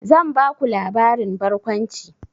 Zan baku labarin barkwanci.